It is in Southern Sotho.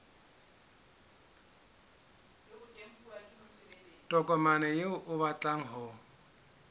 tokomane eo o batlang ho